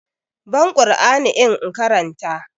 Ban ƙur'ani in karanta!